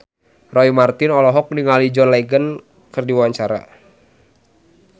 Roy Marten olohok ningali John Legend keur diwawancara